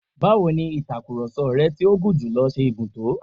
Báwọ ni ìtakurọ̀sọ rẹ tí ó gùn jùlọ ṣe gùn tó?